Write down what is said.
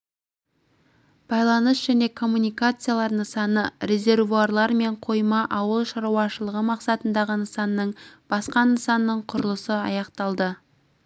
байланыс және коммуникациялар нысаны резервуарлар мен қойма ауыл шаруашылығы мақсатындағы нысанның басқа нысанның құрылысы аяқталды